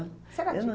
Você era